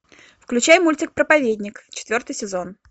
включай мультик проповедник четвертый сезон